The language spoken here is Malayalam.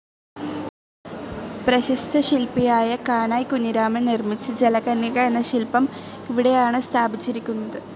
പ്രശസ്ത ശില്പിയായ കാനായി കുഞ്ഞിരാമൻ നിർമ്മിച്ച ജലകന്യക എന്ന ശിൽപം ഇവിടെയാണ് സ്ഥാപിച്ചിരിക്കുന്നത്.